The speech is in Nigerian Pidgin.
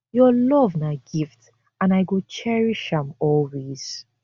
your love na gift and i go cherish am always